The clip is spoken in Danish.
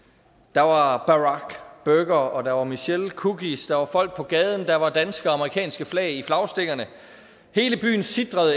der var barackburgere og der var michellecookies der var folk på gaden der var danske og amerikanske flag i flagstængerne hele byen sitrede